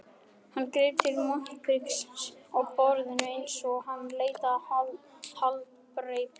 Hann greip til montpriksins á borðinu einsog hann leitaði haldreipis.